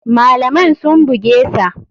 Malaman sun bugesa.